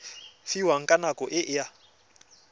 fiwang ka nako e a